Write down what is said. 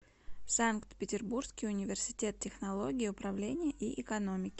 санкт петербургский университет технологии управления и экономики